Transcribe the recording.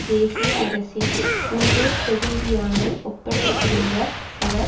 தேசிய அரசின் உள்ளூர் பிரதிநிதியான ஒப்படைத்திருந்த அவர்